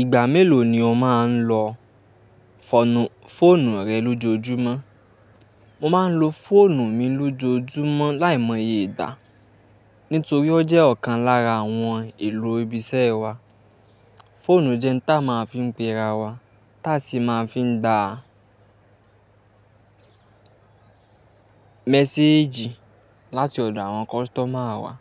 Ìgbà mélòó ni o máa ń lo fọ̀nù, fóònù rẹ lójoojúmọ́? Mo máa ń lo fóònù mi lójoojúmọ́ láìmọye ìgbà, nítorí ó jẹ́ ọ̀kan lára àwọn èlò ibi iṣẹ́ wa. Fóònù jẹ́ n ta máa ń fiń pe rawa, táa sì máa ń fiń gbá méséjì láti ọ̀dọ̀ àwọn customer wa.